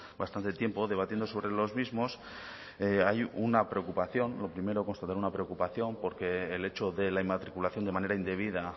bastante tiempo debatiendo sobre los mismos hay una preocupación lo primero constatar una preocupación porque el hecho de la inmatriculación de manera indebida